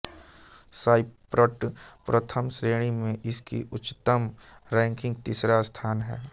साइप्रट प्रथम श्रेणी में इसकी उच्चतम रैंकिंग तीसरा स्थान है